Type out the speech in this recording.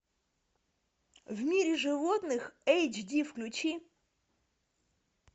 в мире животных эйч ди включи